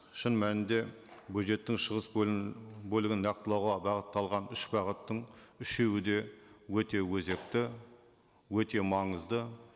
шын мәнінде бюджеттің шығыс бөлігін нақтылауға бағытталған үш бағыттың үшеуіде өте өзекті өте маңызды